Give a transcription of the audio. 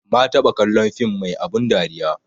Ma taɓa kallon film mai abun dariya